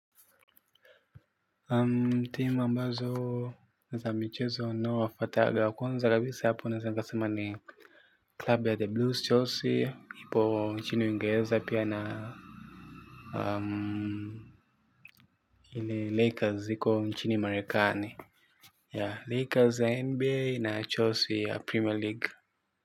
Team ambazo ni za michezo unaowafataga ya kwanza kabisa hapo naeza nikasema ni club ya the blues chelsea ipo chini ungeeza pia na um ile lakers iko nchini marekani ya lakers ya nba na chelsea ya premier league.